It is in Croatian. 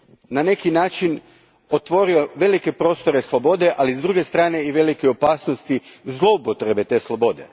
Na neki je način otvorio velike prostore slobode, ali s druge strane i velike opasnosti zloupotrebe te slobode.